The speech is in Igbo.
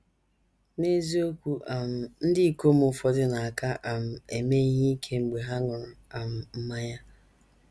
N’eziokwu um, ndị ikom ụfọdụ na - aka um eme ihe ike mgbe ha ṅụrụ um mmanya.